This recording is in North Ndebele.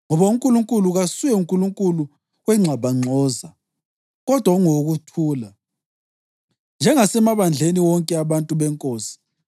Ngoba uNkulunkulu kasuye Nkulunkulu wengxabangxoza kodwa ungowokuthula. Njengasemabandleni wonke abantu beNkosi.